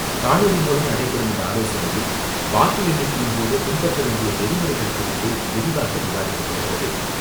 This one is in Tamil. காணொலி மூலம் நடைபெறும் இந்த ஆலோசனையில், வாக்கு எண்ணிக்கையின்போது பின்பற்ற வேண்டிய நெறிமுறைகள் குறித்து விரிவாக விவாதிக்கப்படுகிறது.